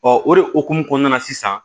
o de hukumu kɔnɔna na sisan